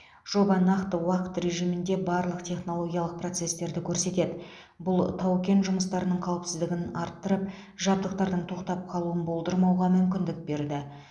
жоба нақты уақыт режимінде барлық технологиялық процестерді көрсетеді бұл тау кен жұмыстарының қауіпсіздігін арттырып жабдықтардың тоқтап қалуын болдырмауға мүмкіндік берді